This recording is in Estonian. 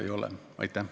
Aitäh!